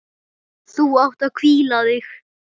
Þú átt að hvíla þig.